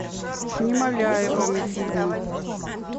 с немоляевыми фильмы